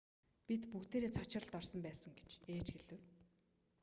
бид бүгдээрээ цочролд орсон байсан гэж ээж хэлэв